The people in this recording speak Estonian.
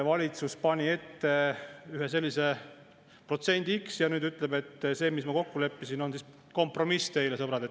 Valitsus pani ette ühe protsendi x ja nüüd ütleb: "See, mis me kokku leppisime, on kompromiss teile, sõbrad.